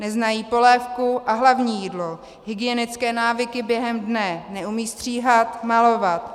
Neznají polévku a hlavní jídlo, hygienické návyky během dne, neumějí stříhat, malovat.